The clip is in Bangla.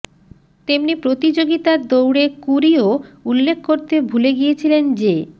তেমনি প্রতিযোগিতার দৌড়ে ক্যুরিও উল্লেখ করতে ভুলে গিয়েছিলেন যে